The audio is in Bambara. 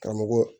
Karamɔgɔ